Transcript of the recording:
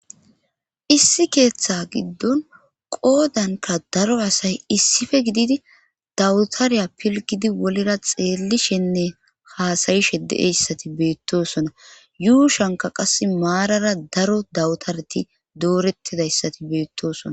issi keeththa giddon qoodanka daro asay issife gididi dawutariya pilgidi wolera xeellishenne haasayishe de7eyssati beettosona yuushanka qas maarara daro dawutareti doorettidayssati beettosona